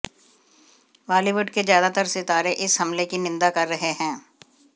बॉलीवुड के ज्यादातर सितारे इस हमले की निंदा कर रहे हैं